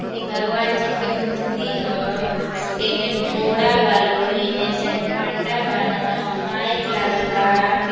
ई भगवान जी के मूर्ति ह। एमे घोडा बा लोग। एमे एक जानी पंडा बान। माइक लागल बा।